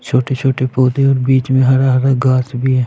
छोटी-छोटी पौधों और बीच में हरा-हरा गार्डं भी है ।